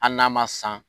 Hali n'a ma san